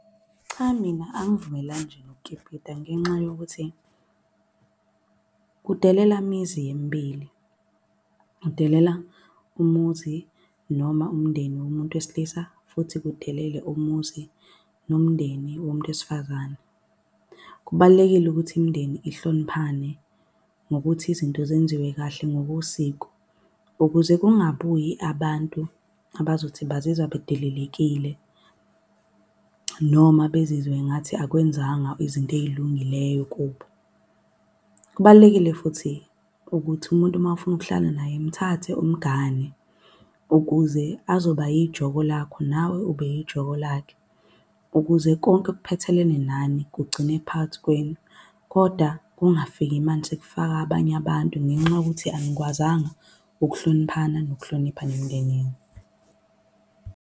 Cha mina angivumelani nje nokukipita ngenxa yokuthi kudelela imizi emibili. Kudelela umuzi noma umndeni womuntu wesilisa, futhi kudelele umuzi nomndeni womuntu wesifazane. Kubalulekile ukuthi imindeni ihloniphane ngokuthi izinto zenziwe kahle ngokosiko. Ukuze kungabuyi abantu abazothi bazizwa bedelelekile noma bezizwe ngathi akwenzanga izinto ey'lungileyo kubo. Kubalulekile futhi ukuthi umuntu uma ufuna ukuhlala naye mthathe umgane ukuze azoba yijoko lakho nawe ube yijoko lakhe. Ukuze konke okuphathelene nani kugcine phakathi kwenu, koda kungafiki manje sekufaka abanye abantu ngenxa yokuthi anikwazanga ukuhloniphana nokuhlonipha nemindeni yenu.